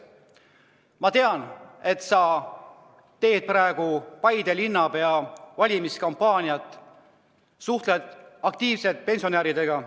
Ma tean, et sa teed praegu Paide linnapea valimise kampaaniat, suhtled aktiivselt pensionäridega.